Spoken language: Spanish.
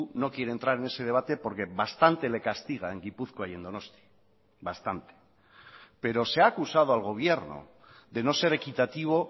no quiere entrar en ese debate porque bastante le castiga en gipuzkoa y en donosti bastante pero se ha acusado al gobierno de no ser equitativo